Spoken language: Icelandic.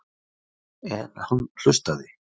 En hann hlustaði.